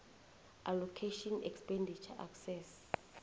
allocation expenditure excess